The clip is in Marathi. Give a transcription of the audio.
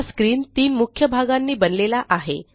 हा स्क्रीन तीन मुख्य भागांनी बनलेला आहे